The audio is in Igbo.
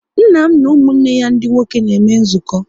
Nna m na ụmụnne ya ndị nwoke na-eme nzukọ